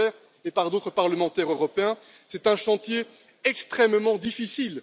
Weber et par d'autres parlementaires européens c'est un chantier extrêmement difficile.